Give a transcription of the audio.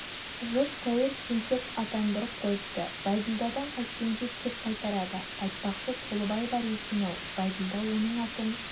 жұрт тәуір тентек атандырып қойыпты бәйділдадан қайткенде кек қайтарады айтпақшы толыбай бар екен-ау бәйділда оның атын